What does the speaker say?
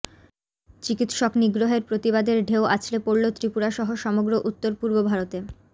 চিকিৎসক নিগ্রহের প্রতিবাদের ঢেউ আছড়ে পড়ল ত্রিপুরা সহ সমগ্র উত্তর পূর্ব ভারতে